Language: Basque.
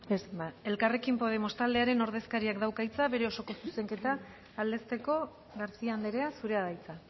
ez ba elkarrekin podemos taldearen ordezkariak dauka hitza bere osoko zuzenketa aldezteko garcía andrea zurea da hitza